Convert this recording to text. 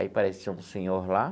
Aí apareceu um senhor lá.